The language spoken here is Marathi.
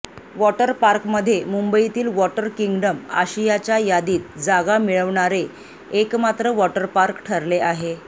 वॉटर पार्कमध्ये मुंबईतील वॉटर किंगडम आशियाच्या यादीत जागा मिळवणारे एकमात्र वॉटर पार्क ठरले आहे